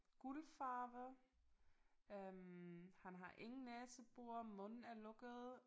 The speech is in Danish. Guldfarve øh han har ingen næsebor munden er lukket